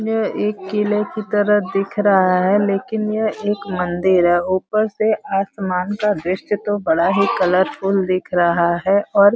यह एक किले की तरह दिख रहा है। लेकिन यह एक मंदिर है। ऊपर से आसमान का दृश्य तो बड़ा ही कलरफुल दिख रहा है और --